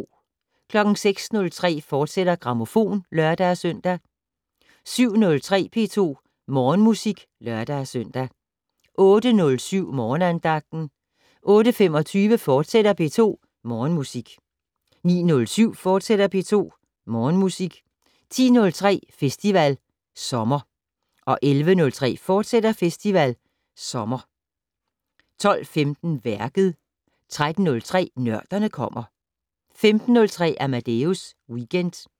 06:03: Grammofon, fortsat (lør-søn) 07:03: P2 Morgenmusik (lør-søn) 08:07: Morgenandagten 08:25: P2 Morgenmusik, fortsat 09:07: P2 Morgenmusik, fortsat 10:03: Festival Sommer 11:03: Festival Sommer, fortsat 12:15: Værket 13:03: Nørderne kommer 15:03: Amadeus Weekend